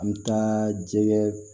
An mi taa jɛgɛ